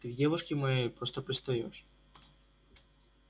ты к девушке моей просто пристаёшь